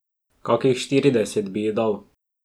Kakih štirideset bi ji dal.